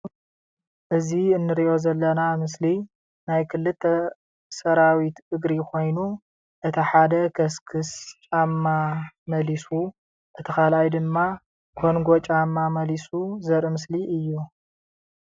እዚ እንሪኦ ዘለና ምስሊ ናይ ክለተ ሰራዊት እግሪ ኮይኑ እቲ ሓደ ከስክስ ጫማ መሊሱ እቲ ካልኣይ ድማ ኰነጎ ጫማ መሊሱ ዘርኢ ምስሊ እዩ፡፡